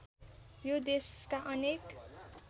यो देशका अनेक